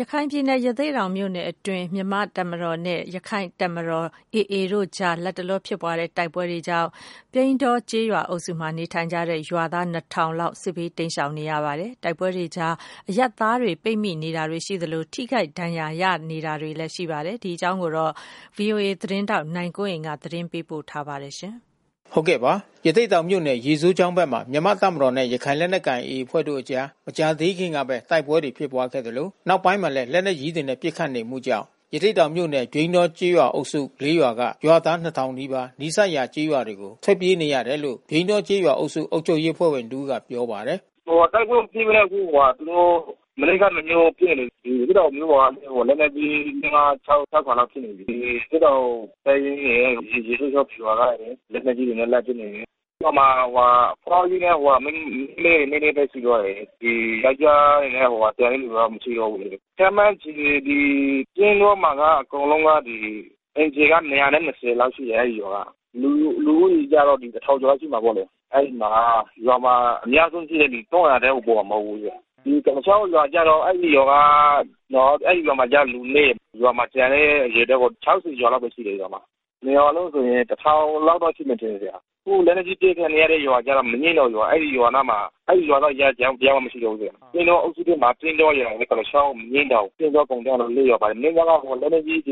ရခိုင်ပြည်နယ် ၊ ရသေ့တောင်မြို့နယ် အတွင်း မြန်မာ့တပ်မတော်နဲ့ ရက္ခိုင့်တပ်တော် AA တို့ ကြား လတ်တလော ဖြစ်ပွားတဲ့ တိုက်ပွဲတွေကြောင့် ပြိန်းတောကျေးရွာအုပ်စု မှာ နေထိုင်ကြတဲ့ရွာသား ၂၀၀၀ လောက် စစ်ဘေးတိမ်းရှောင်နေရပါတယ်။ တိုက်ပွဲတွေကြား အရပ်သားတွေ ပိတ်မိနေတာတွေ ရှိသလို ထိခိုက်ဒဏ်ရာရတာတွေလည်း ရှိပါတယ်။ ဒီအကြောင်း ဗွီအိုအေသတင်းထောက် နိုင်ကွန်းအိမ်က သတင်းပေးပို့ထားပါတယ်။ ရသေ့တောင်မြို့နယ် ရေစိုးချောင်းဘက်မှာ မြန်မာ့တပ်မတော်နဲ့ ရခိုင်လက်နက် ကိုင် AAအဖွဲ့တို့ ကြား မကြာသေးခင်ကပဲ တိုက်ပွဲတွေ ဖြစ်ခဲ့သလို နောက်ပိုင်းမှာလည်း လက်နက်ကြီးတွေနဲ့ပစ်ခတ်နေမှုကြောင့် ရသေ့တောင်မြို့နယ် ပြိန်းတောကျေးရွာ အုပ်စု ၄ ရွာက ရွာသား ၂၀၀၀ နီးပါး နီးစပ်ရာကျေးရွာတွေကို ထွက်ပြေးနေရတယ်လို့ ပြိန်းတောကျေးရွာအုပ်စု အုပ်ချုပ်ရေး အဖွဲ့ဝင် တဦးက ပြောပါတယ်။ “တိုက်ပွဲမဖြစ်ဘဲနဲ့အခု ရသေ့တောင်တပ်ရင်းရယ် ရေစိုးချောင်းဗျူဟာကရယ် လက်နက်ကြီးတွေနဲ့ လှမ်းပစ်နေ တယ်။ ရွာမှာအဖွားကြီးနဲ့မိန်းကလေးတွေနည်းနည်းပဲ ရှိတော့တယ်။ ယောကျာ်းတွေက ကျန်တဲ့လူက မရှိတော့ဘူးလေ။ ပြိန်းတောမှာ က အကုန်လုံးမှာက လူဦးရေကတော့ တထောင်ကျော် လောက်ရှိမှာပေါ့လေ။ ဒီကုလားချောင်းမှာကျတော့ ရွာမှာ ကျန်တဲ့ အရေအတွက်ပေါ့ ၆၀ ကျော်လောက်ပဲ ရှိတယ်။ ရွာမှာ။ ၂ ရွာ လုံးဆိုရင် ၁၀၀၀ လောက်တော့ ရှိမယ်ထင်တယ်။ အခု လက်နက်ကြီး အပစ်ခံနေရတဲ့ ရွာကျတော့ မညှင်းတောင်ရွာ။ အဲဒီရွာက တယောက်မှ မရှိတော့ဘူး။ ပြိန်းတောကျေးရွာ အုပ်စုထဲက ပြိန်းတောရယ်၊ ကုလားချောင်းရယ်၊ အညှင်းတောင် ပိန်းတောကုန်တန်း ၄ ရွာ ပါတယ်။ အဲဒီ ၄